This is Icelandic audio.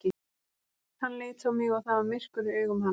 Hann leit á mig og það var myrkur í augum hans.